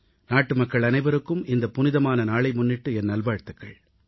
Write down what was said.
நாட்டுமக்கள் அனைவருக்கும் இந்த புனிதமான நாளை முன்னிட்டு என் நல்வாழ்த்துகள்